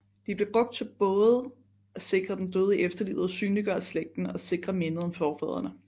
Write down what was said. De blev brugt både til at sikre den døde i efterlivet og synliggøre slægten og sikre mindet om forfædrene